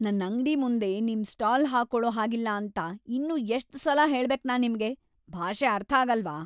ನನ್ ಅಂಗ್ಡಿ ಮುಂದೆ ನಿಮ್ ಸ್ಟಾಲ್ ಹಾಕೊಳೋ ಹಾಗಿಲ್ಲ ಅಂತ ಇನ್ನೂ ಎಷ್ಟ್‌ ಸಲ ಹೇಳ್ಬೇಕ್‌ ನಾನ್ ನಿಮ್ಗೆ?! ಭಾಷೆ ಅರ್ಥಾಗಲ್ವಾ?